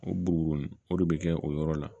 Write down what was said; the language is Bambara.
O bugu o de bɛ kɛ o yɔrɔ la